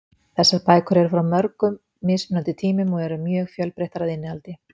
Þessar bækur eru frá mörgum mismunandi tímum og eru mjög fjölbreyttar að innihaldi.